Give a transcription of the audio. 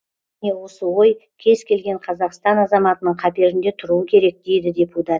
міне осы ой кез келген қазақстан азаматының қаперінде тұруы керек дейді депутат